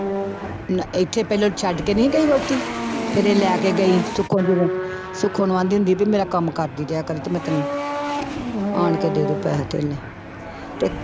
ਨਾ ਇੱਥੇ ਪਹਿਲੋਂ ਛੱਡ ਕੇ ਨੀ ਗਈ ਵਹੁਟੀ, ਫਿਰ ਇਹ ਲੈ ਕੇ ਗਈ ਸੁੱਖੋ ਦੀ ਨਹੁੰ, ਸੁੱਖੋ ਨੂੰ ਕਹਿੰਦੀ ਹੁੰਦੀ ਵੀ ਮੇਰਾ ਕੰਮ ਕਰਦੀ ਰਿਹਾ ਕਰੀਂ ਤੇ ਮੈਂ ਤੈਨੂੰ ਆਣ ਕੇ ਦੇ ਦਊਂ ਪੈਸਾ ਧੇਲਾ ਤੇ